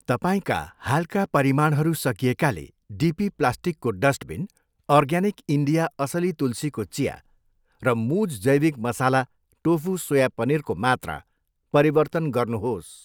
तपाईँका हालका परिमाणहरू सकिएकाले डिपी प्लास्टिकको डस्टबिन, अर्ग्यानिक इन्डिया असली तुलसीको चिया र मुज जैविक मसाला टोफु सोया पनिरको मात्रा परिवर्तन गर्नुहोस्।